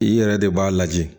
I yɛrɛ de b'a lajɛ